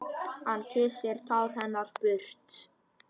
Hann kyssir tár hennar burtu.